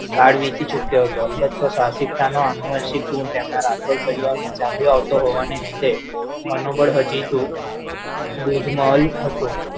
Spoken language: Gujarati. કાળ વીતી ચુક્યો હતો અનુવંસિક ગુણ તેમના રાઠોડ પરિવારમાં ચાલ્યું આવતો હોવાને લીધે મનોબળ હાજી તો દૂધમલ હતું